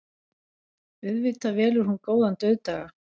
Auðvitað velur hún góðan dauðdaga.